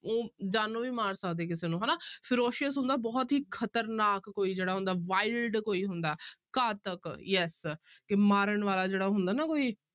ਉਹ ਜਾਨੋਂ ਵੀ ਮਾਰ ਸਕਦੇ ਕਿਸੇ ਨੂੰ ਹਨਾ ferocious ਹੁੰਦਾ ਬਹੁਤ ਹੀ ਖ਼ਤਰਨਾਕ ਕੋਈ ਜਿਹੜਾ ਹੁੰਦਾ wild ਕੋਈ ਹੁੰਦਾ ਘਾਤਕ yes ਕਿ ਮਾਰਨ ਵਾਲਾ ਜਿਹੜਾ ਹੁੰਦਾ ਨਾ ਕੋਈ,